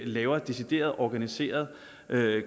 laver decideret organiseret